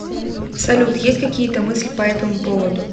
салют есть какие то мысли по этому поводу